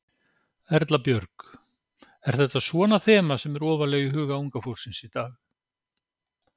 Erla Björg: Er þetta svona þema sem er ofarlega í huga unga fólksins í dag?